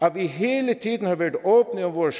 at vi hele tiden har været åbne om vores